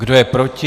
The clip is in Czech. Kdo je proti?